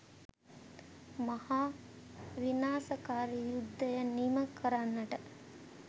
මහා විනාශකාරි යුද්ධය නිම කරන්නට